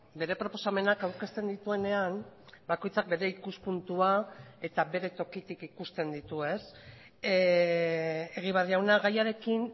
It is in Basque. bere proposamenak aurkezten dituenean bakoitzak bere ikuspuntua eta bere tokitik ikusten ditu egibar jauna gaiarekin